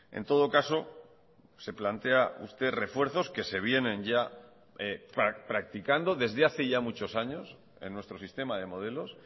en todo caso se plantea usted refuerzos que se vienen ya practicando desde hace ya muchos años en nuestro sistema de modelos